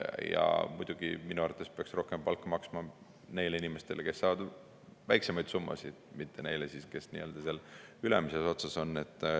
Ja muidugi, minu arvates peaks rohkem palka maksma neile inimestele, kes saavad väiksemaid summasid, mitte neile, kes seal nii-öelda ülemises otsas on.